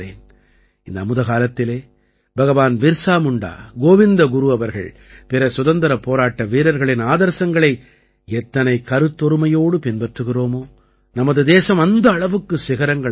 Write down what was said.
இந்த அமுத காலத்திலே பகவான் பிர்ஸா முண்டா கோவிந்த குரு அவர்கள் பிற சுதந்திரப் போராட்ட வீரர்களின் ஆதர்சங்களை எத்தனை கருத்தொருமையோடு பின்பற்றுகிறோமோ நமது தேசம் அந்த அளவுக்குச் சிகரங்களைத் தொடும்